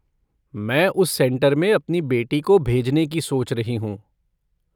मैं उस सेंटर में अपनी बेटी को भेजने की सोच रही हूँ।